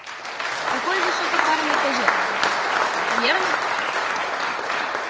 какой высокопарный козёл верно